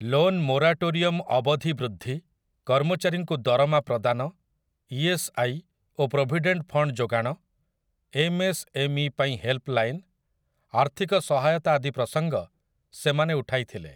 Loan moratorium ଅବଧି ବୃଦ୍ଧି, କର୍ମଚାରୀଙ୍କୁ ଦରମା ପ୍ରଦାନ, ଇଏସ୍ଆଇ ଓ ପ୍ରୋଭିଡେଣ୍ଟ୍ ଫଣ୍ଡ୍ ଯୋଗାଣ, ଏମ୍ଏସ୍ଏମ୍ଇ ପାଇଁ ହେଲ୍ପଲାଇନ୍‌, ଆର୍ଥିକ ସହାୟତା ଆଦି ପ୍ରସଙ୍ଗ ସେମାନେ ଉଠାଇଥିଲେ ।